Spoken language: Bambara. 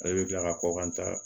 Ale bɛ tila ka kɔkan ta